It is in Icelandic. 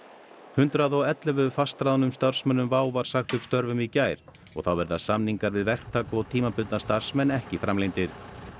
hundrað og ellefu fastráðnum starfsmönnum var sagt upp störfum í gær og þá verða samningar við verktaka og tímabundna starfsmenn ekki framlengdir